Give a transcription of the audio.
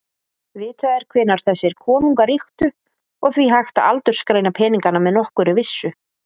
Vitað er hvenær þessir konungar ríktu og því hægt að aldursgreina peningana með nokkurri vissu.